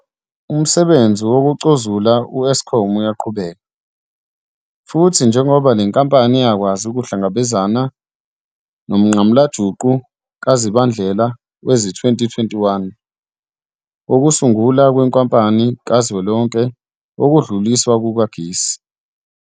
Umsebenzi wokucozula u-Eskom uyaqhubeka, futhi njengoba le nkampani yakwazi ukuhlangabezana nomnqamulajuqu kaZibandlela wezi-2021 wokusungulwa kweNkampani Kazwelonke Yokudluliswa Kukagesi.